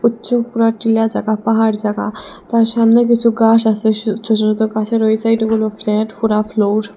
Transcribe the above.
চু পুরা টিলা চাকা পাহাড় জাগা তার সামনে কিছু গাস আসে সো ছোত ছোত গাছের ওই সাইডগুলো ফ্ল্যাট খুড়া ফ্লোর ।